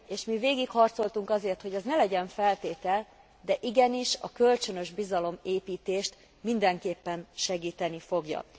Mi végég harcoltunk azért, hogy ez ne legyen feltétel, de igenis a kölcsönös bizalomépítést mindenképpen segíteni fogja.